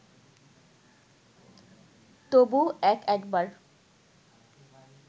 তবু এক একবার